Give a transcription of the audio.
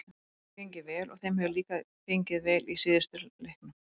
Okkur hefur gengið vel og þeim hefur líka gengið vel í síðustu leiknum.